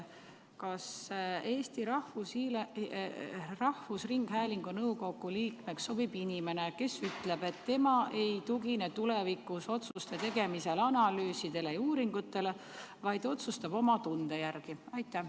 Kas Eesti Rahvusringhäälingu nõukogu liikmeks sobib inimene, kes ütleb, et tema ei tugine tulevikus otsuste tegemisel analüüsidele ja uuringutele, vaid otsustab oma tunde järgi?